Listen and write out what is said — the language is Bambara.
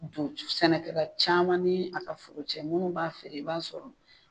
don sɛnɛkɛla caman ni a ka foro cɛ munnu b'a feere i b'a sɔrɔ